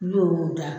N'i y'o da